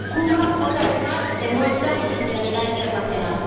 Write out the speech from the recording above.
Cuba, otra vez más, demuestra su solidaridad internacional.